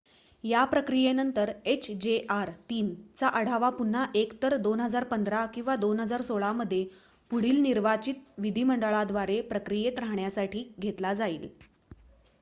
या प्रक्रियेनंतर hjr-3 चा आढावा पुन्हा एकतर 2015 किंवा 2016 मध्ये पुढील निर्वाचित विधीमंडळाद्वारे प्रक्रियेत राहण्यासाठी घेतला जाईल